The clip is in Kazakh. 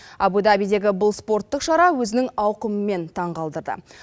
абу дабидегі бұл спорттық шара өзінің ауқымымен таң қалдырды